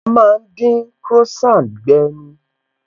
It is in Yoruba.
A má ń dín Croissant gbe ni